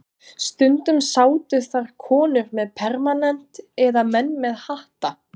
Stundum sátu þar konur með permanent eða menn með hatta.